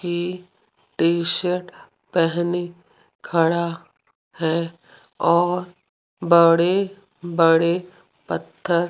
ये T shirt पहनी खड़ा है और बड़े बड़े पत्थर --